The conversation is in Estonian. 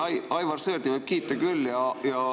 Ei, Aivar Sõerdi võib kiita küll.